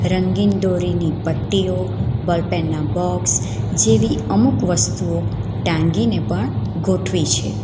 રંગીન દોરીની પટ્ટીઓ બોલપેનના બોક્સ જેવી અમુક વસ્તુઓ ટાંગી ને પણ ગોઠવી છે.